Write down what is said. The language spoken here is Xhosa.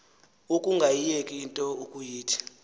ukungayiyeki into ukuyithi